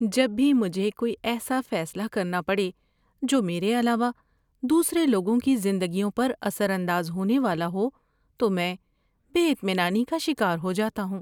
جب بھی مجھے کوئی ایسا فیصلہ کرنا پڑے جو میرے علاوہ دوسرے لوگوں کی زندگیوں پر اثر انداز ہونے والا ہو تو میں بے اطمینانی کا شکار ہو جاتا ہوں۔